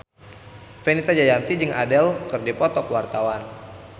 Fenita Jayanti jeung Adele keur dipoto ku wartawan